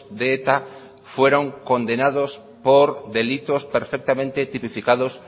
de eta fueron condenados por delitos perfectamente tipificados